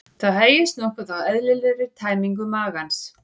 Það hægist nokkuð á eðlilegri tæmingu magans.